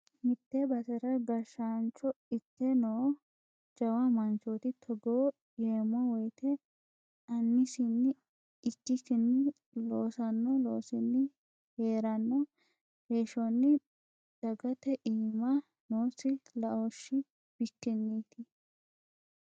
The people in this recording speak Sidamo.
Mite basera gashshaancho ikke no jawa manchoti togo yeemmo woyte aanisini ikkikkini loossano loosinni heerano heeshshoni dagate iima noosi laoshi bikkinniti.